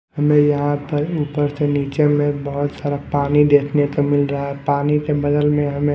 हमें यहां पर ऊपर से नीचे में बहुत सारा पानी देखने को मिल रहा है पानी के बगल में हमें--